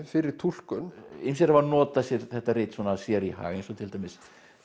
fyrir túlkun ýmsir hafa notað sér þetta rit sér í hag eins og til dæmis